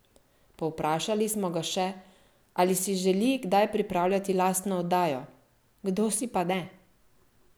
Povprašali smo ga še, ali si želi kdaj pripravljati lastno oddajo: "Kdo si pa ne?